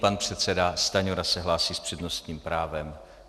Pan předseda Stanjura se hlásí s přednostním právem.